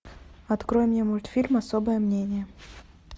открой мне мультфильм особое мнение